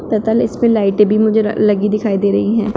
तथा ल इसपे लाइटें भी मुझे र लगी दिखाई दे रही हैं।